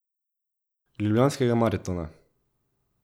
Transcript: Ljubljanskega maratona.